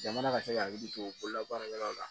Jamana ka se ka hakili to bololabaarakɛlaw la